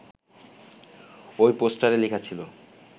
ওই পোস্টারে লেখা ছিল